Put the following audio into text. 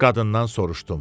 qadından soruşdum.